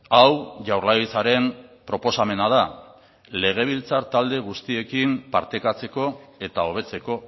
hau jaurlaritzaren proposamena da legebiltzar talde guztiekin partekatzeko eta hobetzeko